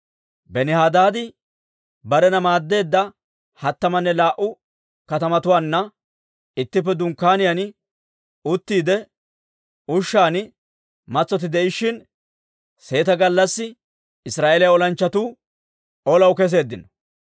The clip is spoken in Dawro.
Benihadaadi barena maaddeedda hattamanne laa"u kaatetuwaanna ittippe dunkkaaniyaan uttiide ushshan matsotti de'ishshin, seeta gallassi Israa'eeliyaa olanchchatuu olaw keseeddino.